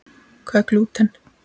Hvað er glúten?